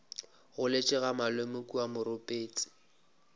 goletše ga malome kua moropetse